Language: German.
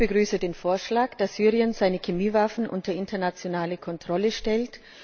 Auch ich begrüße den Vorschlag, dass Syrien seine Chemiewaffen unter internationale Kontrolle stellt.